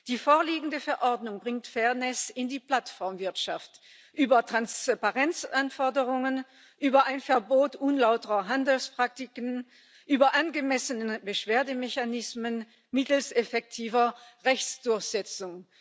Die vorliegende Verordnung bringt Fairness in die Plattformwirtschaft über Transparenzanforderungen, über ein Verbot unlauterer Handelspraktiken, über angemessene Beschwerdemechanismen mittels effektiver Rechtsdurchsetzung.